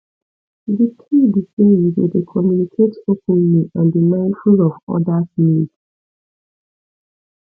di key be say you go dey communicate openly and be mindful of odas needs